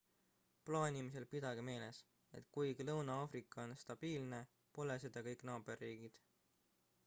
plaanimisel pidage meeles et kuigi lõuna-aafrika on stabiilne pole seda kõik naaberriigid